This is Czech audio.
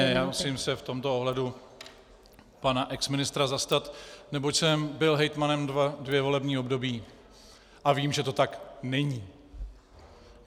Ne, já se musím v tomto ohledu pana exministra zastat, neboť jsem byl hejtmanem dvě volební období a vím, že to tak není.